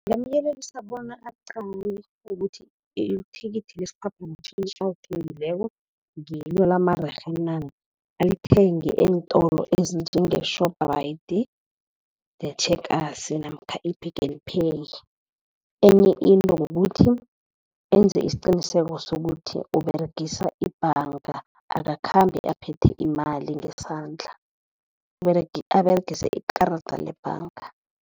Ngingamyelelisa bona aqale ukuthi ithikithi lesiphaphamtjhini alithengileko ngilo lamarerhe na, alithenge eentolo ezinjenge-Shoprite ne-Checkers namkha i-Pick n Pay. Enye into kukuthi enze isiqiniseko sokuthi uberegisa ibhanga, akakhambi aphethe imali ngesandla, aberegise ikarada lebhanga.